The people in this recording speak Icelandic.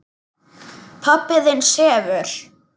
Pabbi þinn sefur.